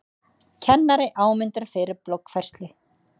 Kennari áminntur fyrir bloggfærslu